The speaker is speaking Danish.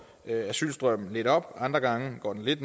asylstrømmen lidt op og andre gange går den lidt